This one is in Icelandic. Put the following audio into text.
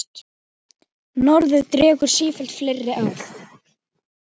Norðrið dregur sífellt fleiri að.